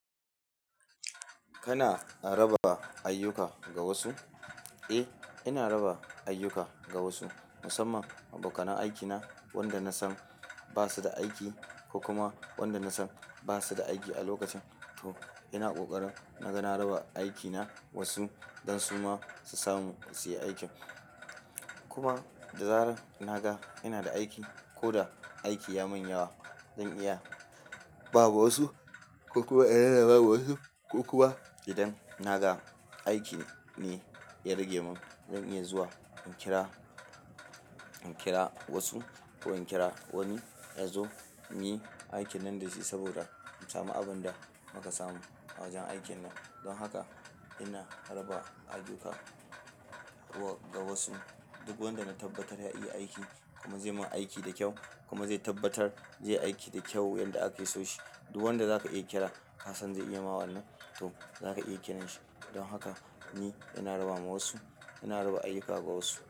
Kana raba ayyuka ga wasu? Eh, ina raba ayyuka ga wasu musamman abokanan aikina wanda na san ba su da aiki ko kuma wanda na san ba su da aiki a lokacin. To ina ƙoƙari na gana raba aikina wasu don su ma su samu su yi aikin. Kuma da zarar na ga ina da aiki ko da aiki ya mun yawa, zan iya ba wa wasu ko kuma ina raba wa wasu ko kuma idan na ga aiki ne ya rage mun, zan iya zuwa in kira, in kira wasu ko in kira wani ya zo ya muyi aikin nan da shi saboda mu samu abin da muka samu a wajen aikin nan. Don haka ina raba ayyuka wa-- ga wasu. Duk wanda na tabbatar ya iya aiki kuma zai min aiki da kyau kuma zai tabbatar zai yi aiki da kyau yadda aka so shi. Duk wanda zaka iya kira ka san zai iya ma wannan, to zaka iya kira shi. Don haka ni ina raba ma wasu, ina raba ayyuka ga wasu.